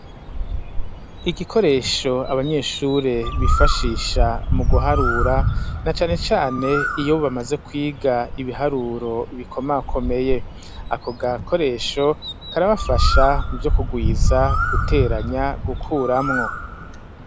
Igikoresho abanyeshuri bifashisha mu guharura na cane cane iyo bamaze kwiga ibiharuro bikomakomeye ako gakoresho karabafasha muvyo kugwiza, guteranya, gukuramwo.